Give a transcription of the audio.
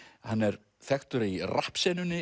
hann er þekktur í